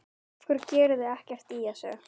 Af hverju gerið þið ekkert í þessu?